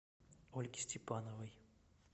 ольги степановой